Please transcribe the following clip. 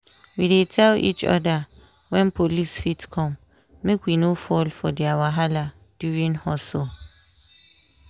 we dey tell each other when police fit come make we no fall for their wahala during hustle.